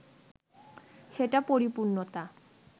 সেটা পরিপূর্ণতা